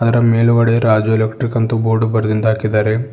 ಅದರ ಮೇಲುಗಡೆ Raju electric board ಬರೆದಿಂದ ಹಾಕಿದಾರೆ.